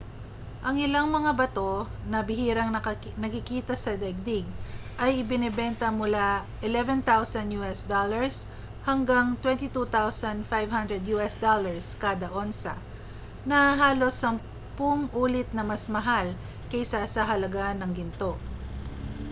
ang ilang mga bato na bihirang nakikita sa daigdig ay ibinebenta mula us$11,000 hanggang $22,500 kada onsa na halos sampung ulit na mas mahal kaysa sa halaga ng ginto